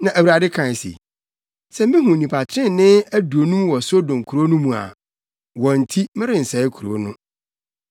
Na Awurade kae se, “Sɛ mihu nnipa trenee aduonum wɔ Sodom kurow no mu a, wɔn nti merensɛe kurow no.”